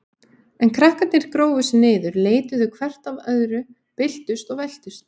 En krakkarnir grófu sig niður, leituðu hvert að öðru, byltust og veltust.